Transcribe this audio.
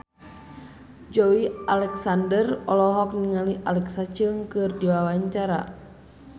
Joey Alexander olohok ningali Alexa Chung keur diwawancara